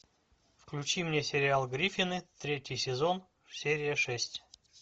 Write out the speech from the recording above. включи мне сериал гриффины третий сезон серия шесть